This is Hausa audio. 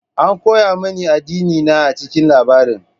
An koya mini addinina a cikin labarin.